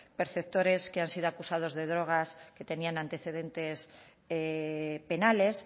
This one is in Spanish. perceptores que han sido acusados de drogas que tenían antecedentes penales